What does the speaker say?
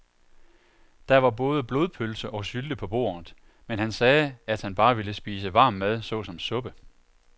Der var både blodpølse og sylte på bordet, men han sagde, at han bare ville spise varm mad såsom suppe.